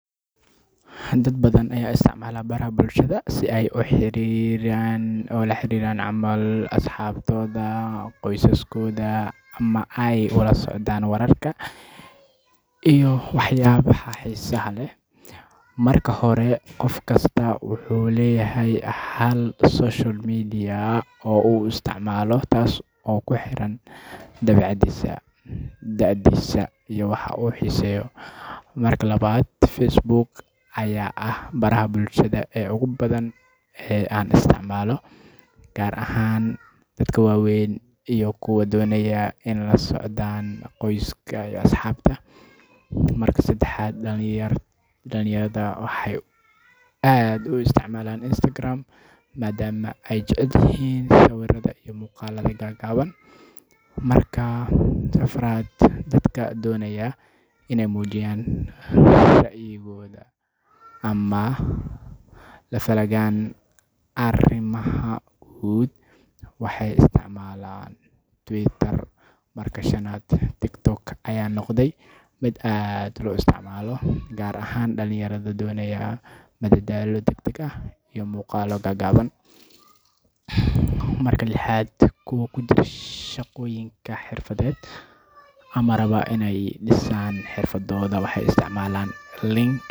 Dad badan ayaa isticmaala baraha bulshada si ay ula xiriiraan asxaabtooda, qoysaskooda, ama ay ula socdaan wararka iyo waxyaabaha xiisaha leh. Marka hore, qof kasta wuxuu leeyahay hal social media oo uu aad u isticmaalo, taas oo ku xiran dabeecaddiisa, da'diisa iyo waxa uu xiiseeyo. Marka labaad, Facebook ayaa ah baraha bulshada ee ugu badan ee la isticmaalo, gaar ahaan dadka waaweyn iyo kuwa doonaya inay la socdaan qoyska iyo asxaabta. Marka saddexaad, dhalinyarada waxay aad u isticmaalaan Instagram maadaama ay jecel yihiin sawirada iyo muuqaallada gaagaaban. Marka afraad, dadka doonaya inay muujiyaan ra’yigooda ama la falgalaan arrimaha bulshada waxay isticmaalaan Twitter. Marka shanaad, TikTok ayaa noqotay mid aad loo isticmaalo, gaar ahaan dhalinyarada doonaysa madadaalo degdeg ah iyo muuqaallo gaagaaban. Marka lixaad, kuwa ku jira shaqooyinka xirfadeed ama raba inay dhisaan xirfadooda waxay isticmaalaan link.